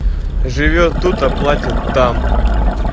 живёт тут а платят там